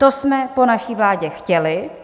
To jsme po naší vládě chtěli.